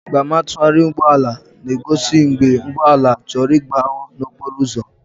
Mgbama ntụgharị ụgbọ ala na-egozi mgbe ụgbọ ala chọrọ ịgbanwuo n'okporo ụzọ.